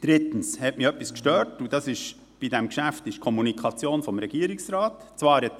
Drittens hat mich bei diesem Geschäft die Kommunikation des Regierungsrates etwas gestört.